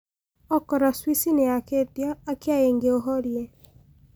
okorwo cwici niyakiitio akĩa ingi uhorie